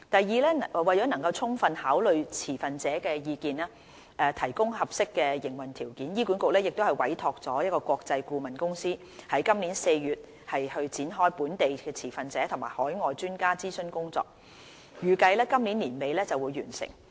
二為能充分考慮持份者的意見，提供合適的營運條件，醫管局已委託國際顧問公司於今年4月展開本地持份者及海外專家諮詢工作，預計於今年年底完成。